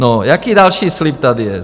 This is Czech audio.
No, jaký další slib tady je?